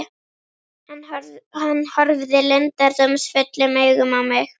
Hann horfði leyndardómsfullum augum á mig.